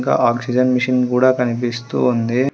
ఇంకా oxygen machine కూడా కనిపిస్తూ ఉంది.